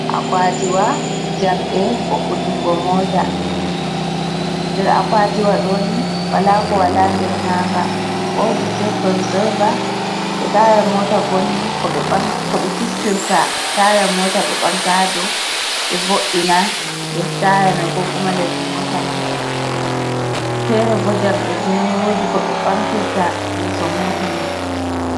Akwatiwa jamɗee vo'itingo Mota, nder akwatiwa ɗoni wola ko wola nder maga. Wodi shekonzaiva to Taya mota vonni koɓe koɓe fistirta taya mota ɓe ɓamta ha dou ɓe vo’ina les taya man. Ko kuma les Mota mai. fere bo jamɗeji mai wodi koɓe ɓamtirta yeso mota mai.